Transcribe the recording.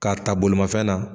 K'are ta bolimafɛn na.